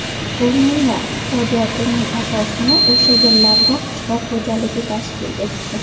Ruminiya iqtisodiyotining asosini o‘sha yillarda qishloq xo‘jaligi tashkil etdi.